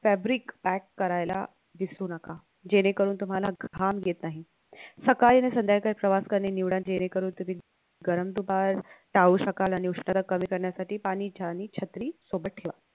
fabric pack करायला `विसरू नका जेणेकरून तुम्हाला घाम येत नाही सकाळी आणि संध्याकाळी प्रवास करणे निवड जेणेकरून तुम्ही गरम दुपार टाळू शकाल आणि उष्णता कमी करण्यासाठी पाणी चहा आणि छत्री सोबत ठेवा